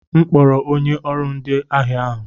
M kpọrọ onye ọrụ ndi ahịa ahụ.